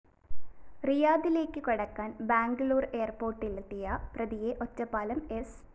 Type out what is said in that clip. റിയാദിലേക്കു കടക്കാന്‍ ബാംഗ്ലൂര്‍ എയര്‍പോര്‍ട്ടിലെത്തിയ പ്രതിയെ ഒറ്റപ്പാലം സ്‌